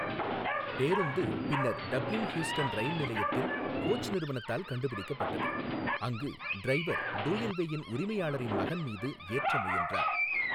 பேருந்து பின்னர் Dublin Heuston rail நிலையத்தில் கோச் நிறுவனத்தால் கண்டுபிடிக்கப்பட்டது, அங்கு டிரைவர் டூயல்வேயின் உரிமையாளரின் மகன் மீது ஏற்ற முயன்றார்.